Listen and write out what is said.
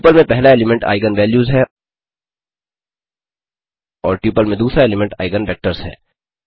tuple में पहला element eigen values हैं और ट्यूपल में दूसरा एलीमेंट आइगन वेक्टर्स हैं